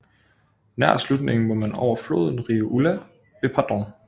Nær slutningen må man over floden Rio Ulla ved Padrón